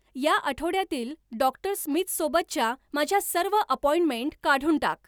या आठवड्यातील डॉक्टर स्मिथसोबतच्या माझ्या सर्व अपॉइंटमेंट काढून टाक